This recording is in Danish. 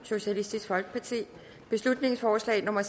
beslutningsforslag nummer